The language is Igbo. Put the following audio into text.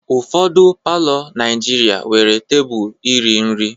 Ụfọdụ palọ Naijiria nwere tebụl iri nri.